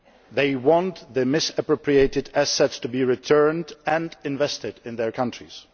they want the misappropriated assets to be returned and invested in their countries.